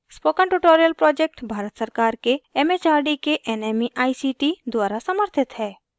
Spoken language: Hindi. spoken tutorial project भारत सरकार के एम एच आर डी के nmeict द्वारा समर्थित है